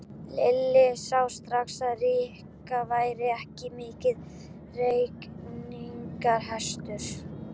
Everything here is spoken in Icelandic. Lilla sá strax að Rikka væri ekki mikill reikningshestur.